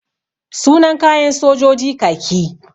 Sunan kayan sojoji kaki.